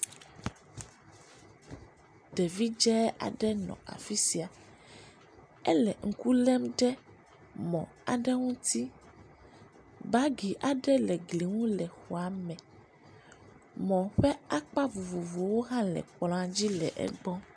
Ɖevi dze aɖe nɔ afi sia, ele ŋku lém ɖe mɔ aɖe ŋuti, bagi aɖe le gli ŋu le xɔa me, mɔ ƒe akpa vovovowo hã le kplɔa dzi le egbɔ